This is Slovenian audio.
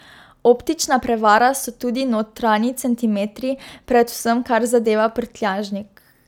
Optična prevara so tudi notranji centimetri, predvsem kar zadeva prtljažnik.